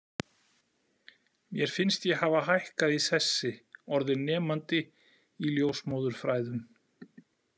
Mér finnst ég hafa hækkað í sessi, orðin nemandi í ljósmóðurfræðum.